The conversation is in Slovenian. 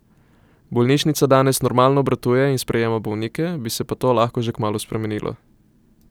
Bolnišnica danes normalno obratuje in sprejema bolnike, bi se pa to lahko že kmalu spremenilo.